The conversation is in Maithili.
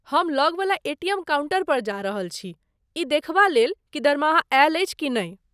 हम लगवला एटीएम काउंटर पर जा रहल छी ई देखबा लेल की दरमाहा आयल अछि कि नहि।